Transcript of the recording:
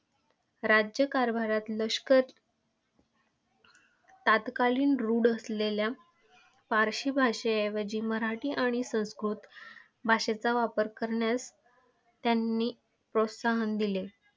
राज्यकारभारात लष्कर तत्कालीन रुढ असलेल्या फारसी भाषेऐवजी मराठी आणि संस्कृत भाषेचा वापर करण्यास त्यांनी प्रोत्साहन दिले.